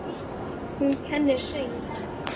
Hún kennir söng.